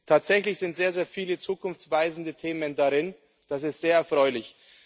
Tatsächlich sind sehr, sehr viele zukunftsweisende Themen darin. Das ist sehr erfreulich.